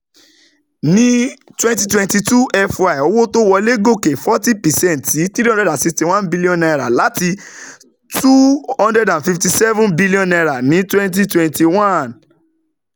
Ní twenty twenty two FY, owó tó wolè gòkè forty percent sí N three hundred sixty one billion láti N two hundred fifty seven billion ní twenty twenty one.